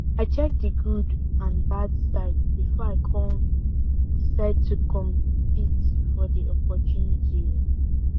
i check di good and bad side before i con decide to compete for di opportunity oo